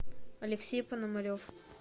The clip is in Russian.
алексей пономарев